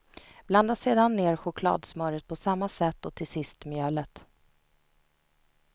Blanda sedan ner chokladsmöret på samma sätt och till sist mjölet.